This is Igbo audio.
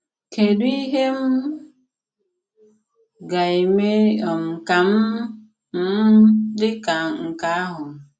Kédù ìhè m ga-eme um ka m m dị ka nke ahụ?